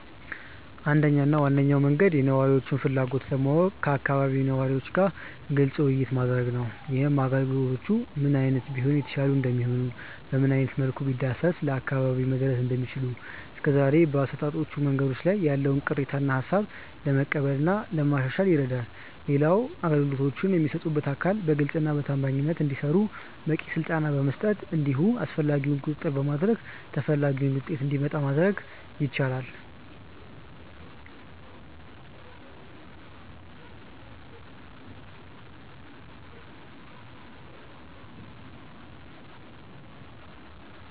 አንደኛው እና ዋነኛው መንገድ የነዋሪውን ፍላጎት ለማወቅ ከአካባቢው ነዋሪ ጋር ግልጽ ውይይት ማድረግ ነው። ይህም አገልግሎቶቹ ምን አይነት ቢሆኑ የተሻሉ እንደሚሆኑ፤ በምን አይነት መልኩ ቢዳረሱ ለአካባቢው መድረስ እንደሚችሉ፤ እስከዛሬ በአሰጣጦቹ መንገዶች ላይ ያለውን ቅሬታ እና ሃሳብ ለመቀበል እና ለማሻሻል ይረዳል። ሌላው አገልግሎቶቹን የሚሰጡት አካል በግልጸኝነት እና በታማኝነት እንዲሰሩ በቂ ስልጠና በመስጠት እንዲሁም አስፈላጊውን ቁጥጥር በማድረግ ተፈላጊው ውጤት እንዲመጣ ማድረግ ይቻላል።